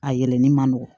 A yɛlɛnni man nɔgɔn